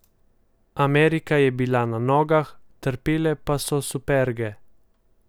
Amerika je bila na nogah, trpele pa so superge.